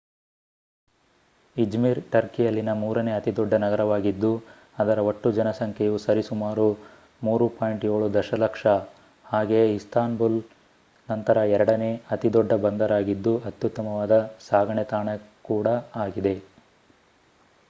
Izmir ಟರ್ಕಿಯಲ್ಲಿನ ಮೂರನೆ ಅತಿದೊಡ್ಡ ನಗರವಾಗಿದ್ದು ಅದರ ಒಟ್ಟು ಜನಸಂಖ್ಯೆಯು ಸರಿಸುಮಾರು 3.7ದಶಲಕ್ಷ ಹಾಗೆಯೇ ಇಸ್ತಾಂಬುಲ್ ನಂತರ ಎರಡನೆ ಅತಿದೊಡ್ಡ ಬಂದರಾಗಿದ್ದು ಅತ್ಯುತ್ತಮವಾದ ಸಾಗಣೆ ತಾಣ ಕೂಡಾ ಆಗಿದೆ